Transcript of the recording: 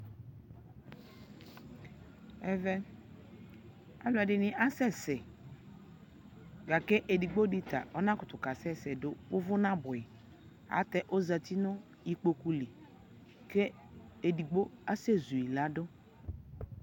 Ɛvɛ aluɛdini asɛsɛ lakedigbodi ta ɔnakutu kasɛsɛ duu uvuu nabuɛɣi ayɛlutɛ oʒati nikpokuli ke idigbo asɛʒui ladu